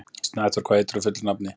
Snæþór, hvað heitir þú fullu nafni?